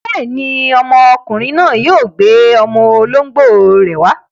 Bẹ́ẹ̀ni, ọmọkùnrin náà yóò gbé ọmọ olóńgbò rẹ̀ wá.